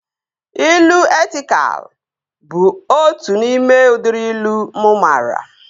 Ilu etịkal bụ otu n'ime udịri ilu mụ maara